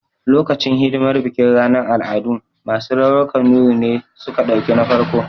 Lokacin hidimar bikin ranar al'adu, masu rawar kanuri ne suka ɗauki na farko